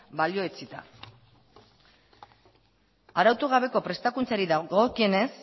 balioetsita arautu gabeko prestakuntzari dagokienez